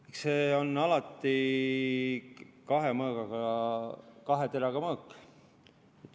Eks see on alati kahe teraga mõõk.